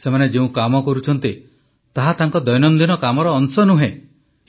ସେମାନେ ଯେଉଁକାମ କରୁଛନ୍ତି ତାହା ତାଙ୍କ ଦୈନନ୍ଦିନ କାମର ଅଂଶ ନୁହେଁ